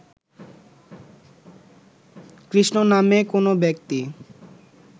কৃষ্ণ নামে কোন ব্যক্তি